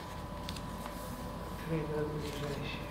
триград ближайший